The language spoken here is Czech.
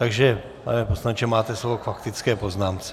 Takže pane poslanče, máte slovo k faktické poznámce.